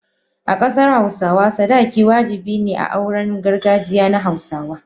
a kasar Hausawa, sadaki wajabi ne a auren gargajiya na hausawa.